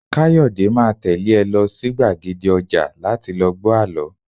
Kayode máa tẹ́lé ẹ lọ sí gbàgede ọjà láti lọ gbọ àlọ́